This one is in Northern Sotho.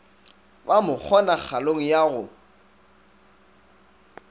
ba mo kgonagalong ya go